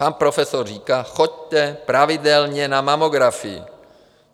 Pan profesor říká: Choďte pravidelně na mamografii.